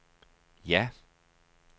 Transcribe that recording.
ja